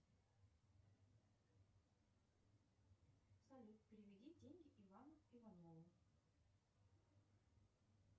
салют переведи деньги ивану иванову